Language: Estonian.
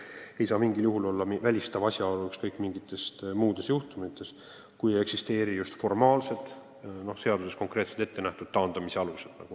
Tema varasem amet ei saa mingil juhul olla välistav asjaolu ükskõik milliste muude juhtumite menetlemisel, kui just ei eksisteeri seaduses konkreetselt ette nähtud taandamise alust.